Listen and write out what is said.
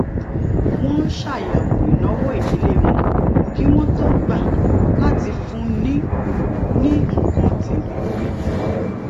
wón ṣàyèwò ìnáwó ìdílé wọn kí wón tó gbà láti fúnni ní nǹkan tèmí